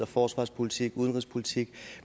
forsvarspolitik og udenrigspolitik